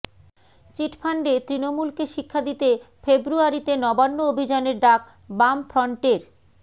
চিটফান্ডে তৃণমূলকে শিক্ষা দিতে ফেব্রুয়ারিতে নবান্ন অভিযানের ডাক বামফ্রন্টের